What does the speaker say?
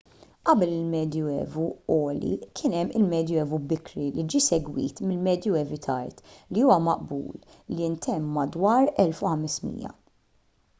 qabel il-medju evu għoli kien hemm il-medju evu bikri li ġie segwit mill-medju evu tard li huwa maqbul li ntemm madwar l-1500